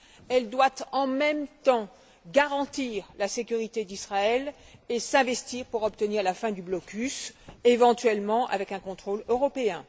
Elle doit en même temps garantir la sécurité d'Israël et s'investir pour obtenir la fin du blocus, éventuellement avec un contrôle européen.